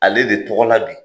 Ale de tɔgɔ la bi,